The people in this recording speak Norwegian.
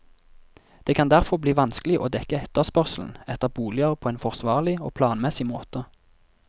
Det kan derfor bli vanskelig å dekke etterspørselen etter boliger på en forsvarlig og planmessig måte.